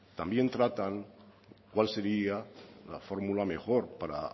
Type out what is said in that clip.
también tratan cuál sería la fórmula mejor para